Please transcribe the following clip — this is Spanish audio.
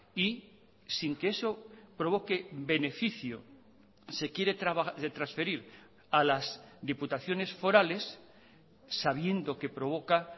y sin que eso provoque beneficio se quiere transferir a las diputaciones forales sabiendo que provoca